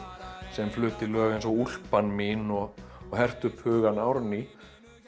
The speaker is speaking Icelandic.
sem flutti lög eins og úlpan mín og hertu upp hugann Árný